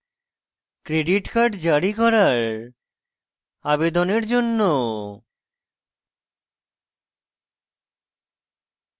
credit card জারি করার আবেদনের জন্য